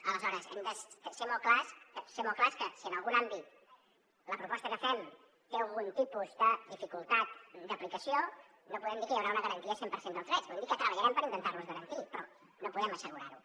aleshores hem de ser molt clars ser molt clars que si en algun àmbit la proposta que fem té algun tipus de dificultat d’aplicació no podem dir que hi haurà una garantia cent per cent dels drets podem dir que treballarem per intentar los garantir però no podem assegurar ho